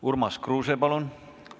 Urmas Kruuse, palun!